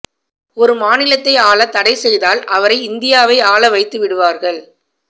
ஒரு மாநிலத்தை ஆள தடை செய்தால் அவரை இந்தியாவை ஆள வைத்து விடுவார்கள்